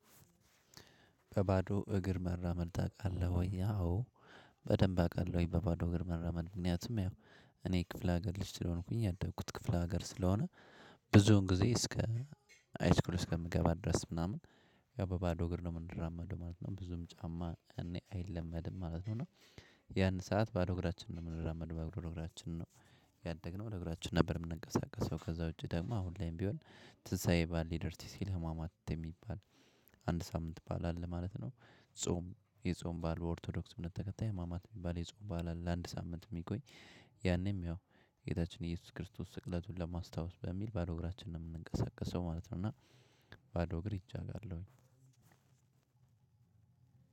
"በባዶ እግር መራመድ ታውቃለህ ወይ?" አዎ በደንብ አውቃለሁኝ በባዶ እግር መራመድ። ምክንያቱም ያው እኔ የክፍለ ሀገር ልጅ ስለሆንኩኝ ያደኩት ክፍለ ሀገር ስለሆነ ብዙውን ጊዜ እስከ ሃይስኩል አከምገባ ድረስ ምናምን ያው በባዶ እግር ነው የምንራመደው ማለት ነው ብዙም ጫማ እኔ አይለመድም ማለት ነው እና ያን ሰዓት ባዶ እግራችንን ነው የምናረመደው ባዶ እግራችንን ነው ያደግነው ባዶ አግራችን ነበር የምንንቀሳቀሰው። ከዛ ውጪ ደግሞ አሁን ላይም ቢሆን ትንሳኤ በዓል ሊደርስ ሲል ህማማት የሚባል አንድ ሳምንት በዓል አለ ማለት ነው። ጾም የጾም በዓል ኦርቶዶክስ እምነት በተከታይ ሃማማት የሚባል የጾም በዓል አለ ለአንድ ሳምንት የሚቆይ ያኔም ያው ጌታችን ኢየሱስ ክርስቶስ ስቅለቱን ለማስታወስ በሚል ባዶ እግራችንን ነው የምንንቀሳቀሰው ማለት ነው፤ እና ባዶ እግር ሂጄ አውቃለሁኝ።